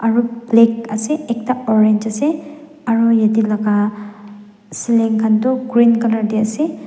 aro black ase ekta orange ase aro yatae laka ceiling khan toh green colour tae ase.